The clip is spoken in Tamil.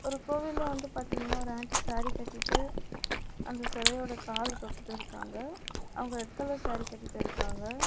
இந்த கோவில்ல வந்து பாத்தீங்னா ஒரு ஆண்டி சேரி கட்டிட்டு அந்த செலயோட காலு தொட்டுட்டு இருக்காங்க. அவங்க ரெட் கலர் சேரி கட்டிட்டு இருக்காங்க.